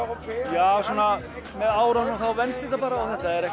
já svona með árunum þá venst þetta bara